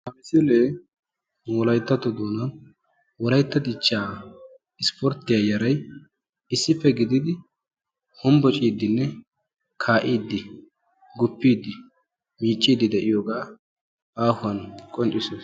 ha misilee wolayittato doonaa wolayitta dichchaa isporttiya yaray issippe gididi hombocciiddinne kaa'iidi guppiidi miicciiddi de'iyoogaa aahuwan qonccisoosona.